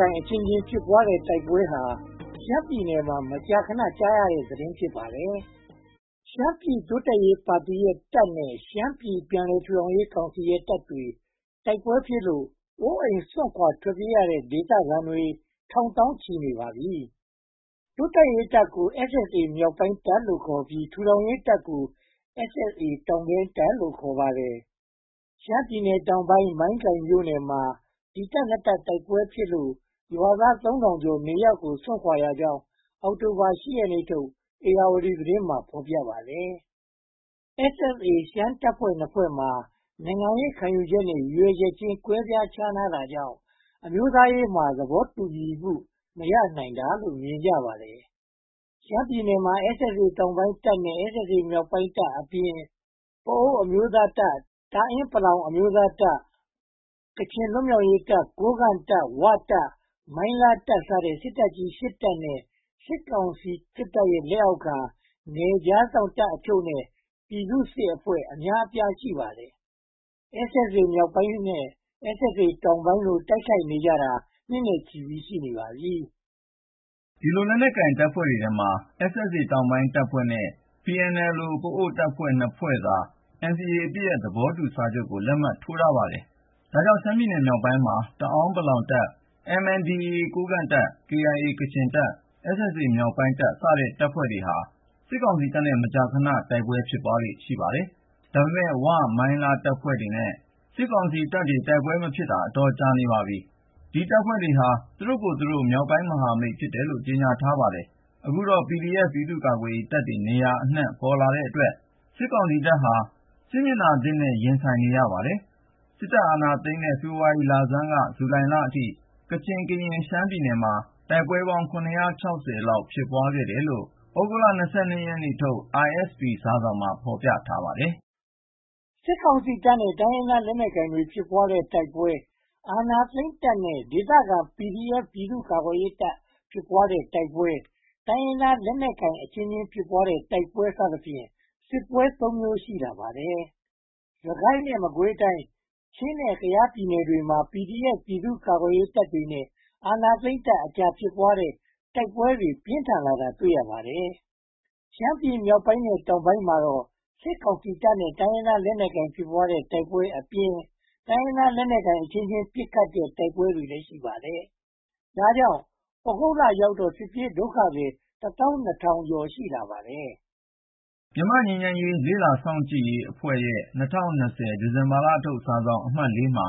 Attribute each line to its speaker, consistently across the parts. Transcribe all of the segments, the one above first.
Speaker 1: ကိုင်အချင်းချင်း ဖြစ်ပွားတဲ့တိုက်ပွဲဟာ ရှမ်းပြည်နယ်မှာ မကြာခဏ ကြားနေရတဲ့သတင်း ဖြစ်ပါတယ်။ ရှမ်းပြည်နယ်တိုးတက်ရေးပါတီရဲ့ တပ်နဲ့ ရှမ်းပြည်နယ်ပြန်လည်ထူထောင်ရေးကောင်စီရဲ့တပ်တွေ တိုက်ပွဲဖြစ်လို့ အိုးအိမ်စွန့်ခွါထွက်ပြေးရတဲ့ ဒေသခံတွေ ထောင်သောင်းချီနေပါပြီ။ တိုးတက်ရေးတပ်ကို SSA မြောက်ပိုင်းတပ်လို့ခေါ်ပြီး ထူထောင်ရေးတပ်ကို SSA တောင်ပိုင်းတပ်လို့ ခေါ်ပါတယ်။ ရှမ်းပြည်နယ်တောင်ပိုင်း မိုင်းကိုင်မြို့နယ်မှာ ဒီတပ် (၂) တပ် တိုက်ပွဲဖြစ်လို့ ရွာသား (၃၀၀၀) ကျော် နေရပ်ကိုစွန့်ခွါရကြောင်း အောက်တိုဘာ (၈) ရက်နေ့ထုတ် ဧရာဝတီသတင်းမှာ ဖော်ပြပါတယ်။ SSA ရှမ်းတပ်ဖွဲ့ (၂) ဖွဲ့မှာ နိုင်ငံရေးခံယူချက်နဲ့ ရည်ရွယ်ချက်ချင်း ကွဲပြားခြားနားတာကြောင့် အမျိုးသားရေးမှာ သဘောတူညီမှု မရိနိုင်တာလို့ မြင်ကြပါတယ်။ ရှမ်းပြည်နယ်မှာ SSA တောင်ပိုင်းတပ်နဲ့ SSA မြောက်ပိုင်းတပ်အပြင်၊ ပအို့ဝ်အမျိုးသားတပ်၊ တာအင်းပလောင်အမျိုးသားတပ်၊ ကချင်လွတ်မြောက်ရေးတပ်၊ ကိုးကန့်တပ်၊ ‘ဝ’တပ်၊ မိုင်းလားတပ်စတဲ့ စစ်တပ်ကြီး ရှစ်တပ်နဲ့ စစ်ကောင်စီတပ်ရဲ့ လက်အောက်ခံ နယ်ခြားစောင့်တပ်တချို့နဲ့ ပြည်သူစစ်အဖွဲ့ အများအပြား ရှိပါတယ်။ SSA မြောက်ပိုင်းတပ်နဲ့ SSA တောင်ပိုင်းတပ်တို့ တိုက်ခိုက်နေကြတာ နှစ်နဲ့ချီနေပါပြီ
Speaker 2: ။ ဒီလက်နက်ကိုင် တပ်ဖွဲ့တွေထဲမှာ SSA တောင်ပိုင်းတပ်ဖွဲ့နဲ့ PNLO ပအို့ဝ်တပ်ဖွဲ့ (၂) ဖွဲ့သာ NCA အပစ်ရပ်သဘောတူချက်ကို လက်မှတ်ထိုးထားပါတယ်။ ဒါကြောင့် ရှမ်းပြည်နယ်မြောက်ပိုင်းမှာ တာအင်းပလောင်တပ်၊ MNDAA ကိုးကန့်တပ်၊ KIA ကချင်တပ်၊ SSA မြောက်ပိုင်းတပ်စတဲ့ တပ်တွေဟာ စစ်ကောင်စီတပ်နဲ့ မကြာခဏ တိုက်ပွဲဖြစ်လေ့ ရှိပါတယ်။ ဒါပေမဲ့ ‘ဝ’၊ မိုင်းလားတပ်ဖွဲ့တွေနဲ့ စစ်ကောင်စီတပ်တို့ တိုက်ပွဲမဖြစ်ခဲ့တာ အတော်ကြာနေပါပြီ။ ဒီတပ်ဖွဲ့တွေဟာ သူတို့ကိုယ်သူတို့ ‘မြောက်ပိုင်းမဟာမိတ်’ ဖြစ်တယ်လို့ ကြေညာထားပါတယ်။ အခုတော့ PDF ပြည်သူ့ကာကွယ်ရေးတပ်တွေ နေရာအနံှ့ ပေါ်ထွက်လာတဲ့အတွက် စစ်ကောင်စီတပ်ဟာ စစ်မျက်နှာသစ်နဲ့ ရင်ဆိုင်နေရပါတယ်။ စစ်အာဏာသိမ်းတဲ့ ဖေဖေါ်ဝါရီလဆန်းက ဇူလိုင်လအထိ ကချင်၊ ကရင်နဲ့ ရှမ်းပြည်နယ်မှာ တိုက်ပွဲပေါင်း (၇၆၀) လောက် ဖြစ်ပွားတယ်လို့ သြဂုတ်လ (၂၂) ရက်နေ့ထုတ် ISP စာစောင်မှာ ဖော်ပြထားပါတယ်
Speaker 1: ။ စစ်ကောင်စီတပ်နဲ့ တိုင်းရင်းသားလက်နက်ကိုင်တွေ ဖြစ်ပွားတဲ့ တိုက်ပွဲတွေ၊ အာဏာသိမ်းတပ်နဲ့ ဒေသခံ PDF ပြည်သူ့ကာကွယ်ရေးတပ် ဖြစ်ပွားတဲ့ တိုက်ပွဲတွေ၊ တိုင်းရင်းသားလက်နက်ကိုင်အချင်းချင်း ဖြစ်ပွားတဲ့ တိုက်ပွဲတွေစသဖြင့် စစ်ပွဲ (၃) မျိုး ရှိလာပါတယ်။ စစ်ကိုင်းနဲ့ မကွေးတိုင်း၊ ချင်းနဲ့ ကယားပြည်နယ်တွေမှာ PDF ပြည်သူ့ကာကွယ်ရေးတပ်တွေနဲ့ အာဏာသိမ်းတပ်တွေကြား ဖြစ်ပွားတဲ့ တိုက်ပွဲတွေ ပြင်းထန်လာတာ တွေ့ရပါတယ်။ ရှမ်းပြည်မြောက်ပိုင်းနဲ့ တောင်ပိုင်းမှာတော့ စစ်ကောင်စီတပ်နဲ့ တိုင်းရင်းသားလက်နက်ကိုင်တွေ ဖြစ်ပွားတဲ့တိုက်ပွဲတွေအပြင် တိုင်းရင်းသားလက်နက်ကိုင်အချင်းချင်း ပစ်ခတ်ကြတဲ့ တိုက်ပွဲတွေလည်း ရှိပါတယ်။ ဒါကြောင့် သြဂုတ်လရောက်တော့ စစ်ပြေးဒုက္ခသည် (၁၂၀၀၀) ကျော် ရှိလာပါတယ်။
Speaker 2: မြန်မာ့ငြိမ်းချမ်းရေးလေ့လာစောင့်ကြည့်ရေးအဖွဲ့ရဲ့ ၂၀၂၀ ဒီဇင်ဘာလထုတ် စာစောင်အမှတ် (၄) မှာ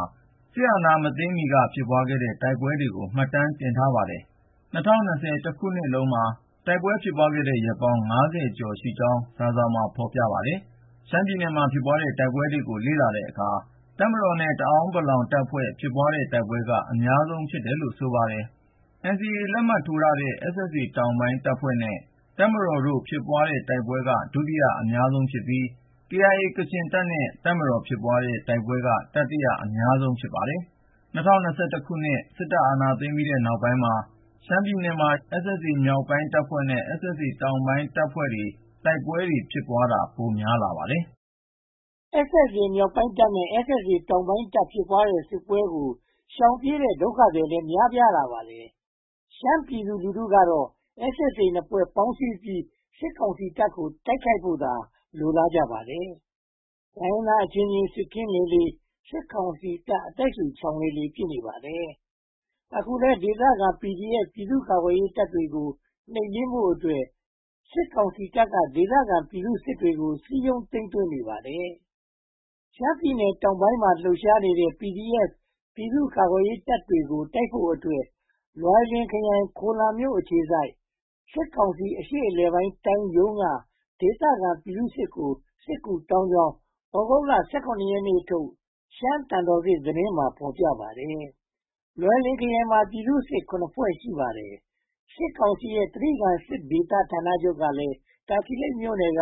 Speaker 2: စစ်အာဏာမသိမ်းမီက ဖြစ်ပွားခဲ့တဲ့ တိုက်ပွဲတွေကို မှတ်တမ်းတင်ထားပါတယ်။ ၂၀၂၀ တနှစ်လုံးမှာ တိုက်ပွဲဖြစ်ပွားတဲ့ ရက်ပေါင်း (၅၀) ကျော်ရှိကြောင်း စာစောင်မှာ ဖော်ပြထားပါတယ်။ ရှမ်းပြည်နယ်မှာ ဖြစ်ပွြါ်တဲ့ တိုက်ပွဲတွေကို လေ့လာတဲ့အခါမှာ တပ်မတော်နဲ့ တအာင်းပလောင်တပ်ဖွဲ့ ဖြစ်ပွားတဲ့ တိုက်ပွဲက အများဆုံး ဖြစ်တယ်လို့ ဆိုပါတယ်။ NCA လက်မှတ်ရေးထိုးထားတဲ့ SSA တောင်ပိုင်းတပ်ဖွဲ့နဲ့ တပ်မတော် ဖြစ်ပွားတဲ့ တိုက်ပွဲက ဒုတိယအများဆုံးဖြစ်ပြီး KIA ကချင်တပ်နဲ့ တပ်မတော်ဖြစ်ပွဲတဲ့ တိုက်ပွဲက တတိယ အများဆုံး ဖြစ်နေပါတယ်။ ၂၀၂၁ စစ်အာဏာသိမ်းပြီးတဲ့ နောက်ပိုင်းမှာတော့ ရှမ်းပြည်နယ်မှာ SSA မြောက်ပိုင်းတပ်ဖွဲ့နဲ့ SSA တောင်ပိုင်းတပ်ဖွဲ့တွေကြား တိုက်ပွဲဖြစ်တာက ပိုများလာပါတယ်
Speaker 1: ။ SSA မြောက်ပိုင်းတပ်ဖွဲ့နဲ့ SSA တောင်ပိုင်းတပ်ဖွဲ့တွေကြား ဖြစ်ပွားတဲ့ စစ်ပွဲတွေကို ရှောင်ပြေးတဲ့ ဒုက္ခသည်တွေလည်း များပြားလာပါတယ်။ ရှမ်းပြည်သူလူထုကတော့ SSA နှစ်ဖွဲ့ပေါင်းစည်းပြီး စစ်ကောင်စီကိုတိုက်ဖို့သာ လိုလားကြပါတယ်။ တိုင်းရင်းသားအချင်းချင်း စစ်ခင်းလေလေ စစ်ကောင်စီတပ် အသက်ရှုချောင်လေလေ ဖြစ်နေပါတယ်။ အခုလည်း ဒေသခံ PDF ပြည်သူ့ကာကွယ်ရေးတပ်တွေကို နှိမ်နင်းဖို့အတွက် စစ်ကောင်စီတပ်က ဒေသခံပြည်သူစစ်တွေကို စည်းရုံးသိမ်းသွင်းနေပါတယ်။ ရှမ်းပြည်နယ်တောင်ပိုင်းမှာ လှုပ်ရှားနေတဲ့ PDF ပြည်သူ့ကာကွယ်ရေးတပ်တွေကို တိုက်ခိုက်ဖို့အတွက် လွိုင်လင်ခရိုင်၊ ခိုလမ်မြို့အခြေစိုက် စစ်ကောင်စီအရှေ့အလယ်ပိုင်းတိုင်းရုံးက ဒေသခံပြည်သူစစ်ကို စစ်ကူတောင်းကြောင်း သြဂုတ်လ (၁၇) ရက်နေ့ထုတ် သျှမ်းသံတော်ဆင့်မှာ ဖော်ပြထားပါတယ်။ လွိုင်လင်ခရိုင်မှာ ပြည်သူ့စစ် (၇) ဖွဲ့ ရှိပါတယ်။ စစ်ကောင်စီရဲ့ ကြိဂံဒေသစစ်ဌာနချုပ်ကလည်း တာချီလိတ်မြို့နယ်က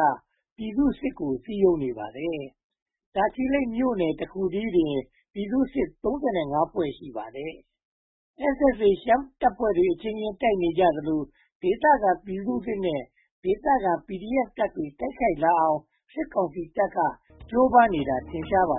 Speaker 1: ပြည်သူ့စစ်ကို စည်းရုံးနေပါတယ်။ တာချီလိတ်မြို့နယ်တခုတည်းမှာတင် ပြည်သူ့စစ် (၃၅) ဖွဲ့ ရှိပါတယ်။ SSA ရှမ်းတပ်ဖွဲ့တွေအချင်းချင်း တိုက်နေကြသလို ဒေသခံပြည်သူစစ်နဲ့ ဒေသခံ PDF တပ်တွေ တိုက်ခိုက်လာအောင် စစ်ကောင်စီတပ်က ကြိုးပမ်းနေတာ ထင်ရှားပါ